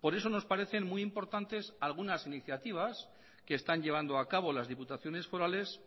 por eso nos parecen muy importantes algunas iniciativas que están llevando a cabo las diputaciones forales